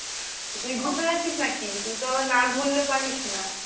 তো তুই ঘুরতে যাচ্ছিস নাকি? তুই তো আবার না ঘুরলে পারিস না।